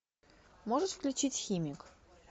можешь включить химик